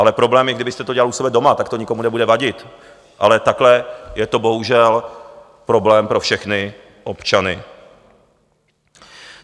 Ale problém je, kdybyste to dělal u sebe doma, tak to nikomu nebude vadit, ale takhle je to bohužel problém pro všechny občany.